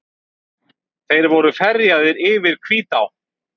Þeir voru ferjaðir yfir Hvítá.